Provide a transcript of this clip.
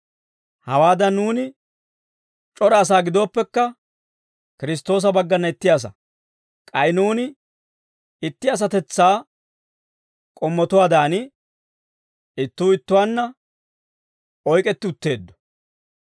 Hawaadan, nuuni c'ora asaa gidooppekka, Kiristtoosa baggana itti asaa. K'ay nuuni itti asatetsaa k'ommotuwaadan, ittuu ittuwaanna oyk'etti utteeddo.